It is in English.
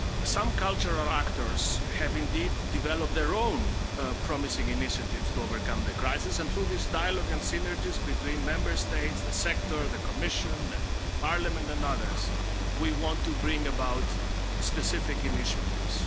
Some cultural actors have indeed developed their own promising initiatives to overcome the crisis and through this dialogue and synergies between Member States, the sector, the Commission, Parliament and others, we want to bring about specific initiatives.